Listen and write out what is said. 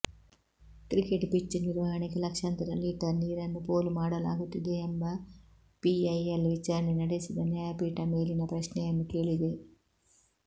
cricket pitch ನಿರ್ವಹಣೆಗೆ ಲಕ್ಷಾಂತರ litre ನೀರನ್ನು ಪೋಲು ಮಾಡಲಾಗುತ್ತಿದೆಯೆಂಬ ಪಿಐಎಲ್ ವಿಚಾರಣೆ ನಡೆಸಿದ ನ್ಯಾಯಪೀಠ ಮೇಲಿನ ಪ್ರಶ್ನೆಯನ್ನು ಕೇಳಿದೆ